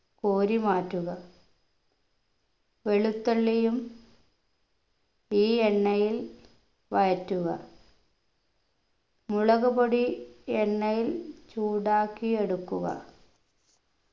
കോരി മാറ്റുക വെളുത്തുള്ളിയും ഈ എണ്ണയിൽ വഴറ്റുക മുളകുപൊടി എണ്ണയിൽ ചൂടാക്കി എടുക്കുക